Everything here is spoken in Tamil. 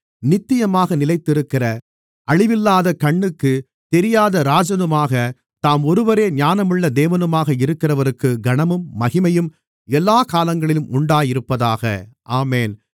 நித்தியமாக நிலைத்திருக்கிற அழிவில்லாத கண்ணுக்குத் தெரியாத ராஜனுமாக தாம் ஒருவரே ஞானமுள்ள தேவனுமாக இருக்கிறவருக்கு கனமும் மகிமையும் எல்லாக் காலங்களிலும் உண்டாயிருப்பதாக ஆமென்